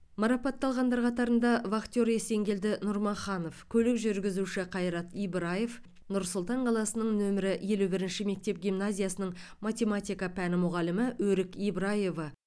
марапатталғандар қатарында вахтер есенгелді нұрмаханов көлік жүргізуші қайрат ибраев нұр сұлтан қаласының нөмірі елу бірінші мектеп гимназиясының математика пәні мұғалімі өрік ибраева